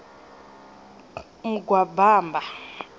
mugwabama